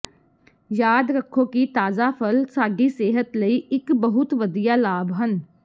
ਯਾਦ ਰੱਖੋ ਕਿ ਤਾਜ਼ਾ ਫਲ ਸਾਡੀ ਸਿਹਤ ਲਈ ਇੱਕ ਬਹੁਤ ਵਧੀਆ ਲਾਭ ਹਨ